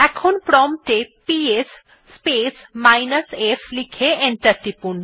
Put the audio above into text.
এখন প্রম্পট এ গিয়ে পিএস স্পেস মাইনাস f লিখে এন্টার টিপুন